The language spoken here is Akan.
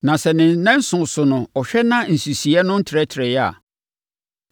“Na sɛ ne nnanson so no ɔhwɛ na sɛ nsisiiɛ no ntrɛtrɛeɛ a,